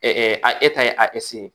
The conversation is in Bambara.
a e ta ye ye